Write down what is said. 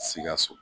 Sikaso